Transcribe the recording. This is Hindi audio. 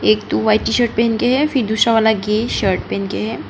एक दो व्हाइट टी_शर्ट पहन के फिर दूसरा वाला ग्रे शर्ट पहन के है।